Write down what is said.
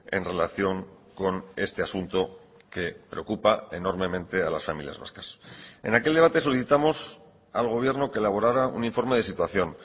en relación con este asunto que preocupa enormemente a las familias vascas en aquel debate solicitamos al gobierno que elaborara un informe de situación